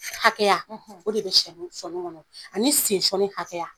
Hakɛya o de bɛ sɔni kɔni ani sen sɔni hakɛya